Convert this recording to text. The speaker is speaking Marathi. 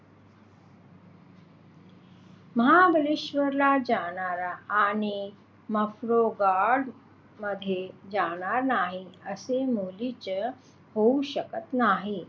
महाबळेश्वरला जाणार आणि मॅप्रो गार्डन मध्ये जाणार नाही असे मुळीच होऊ शकत नाही.